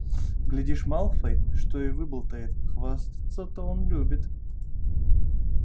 глядишь малфой что и выболтает хвастаться он любит